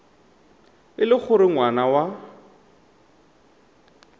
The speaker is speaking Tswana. e le gore ngwana wa